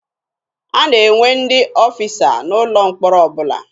A na-enwe ndị ọfịsa n'ụlọ mkpọrọ ọbụla.